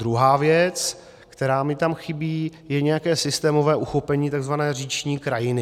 Druhá věc, která mi tam chybí, je nějaké systémové uchopení tzv. říční krajiny.